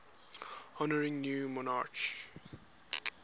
honouring new monarchs